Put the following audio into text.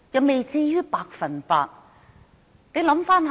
不至於百分之百。